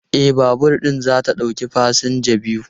E, babur ɗin za ta ɗauki fasinja biyu.